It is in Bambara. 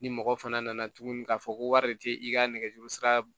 Ni mɔgɔ fana nana tuguni k'a fɔ ko wari de tɛ i ka nɛgɛjuru sira